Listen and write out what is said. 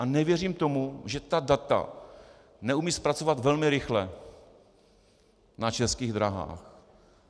A nevěřím tomu, že ta data neumí zpracovat velmi rychle na Českých dráhách.